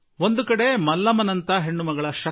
ಮಲ್ಲಮ್ಮಳಂತಹ ಹೆಣ್ಣು ಮಗಳ ಹಠದ ಬಲ ನೋಡಿ